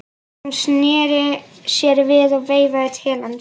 Hún sneri sér við og veifaði til hans.